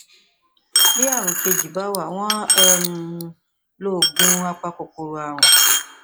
bí ààrùn kejì bá wà wọn á um lo oògùn apakòkòrò ààrùn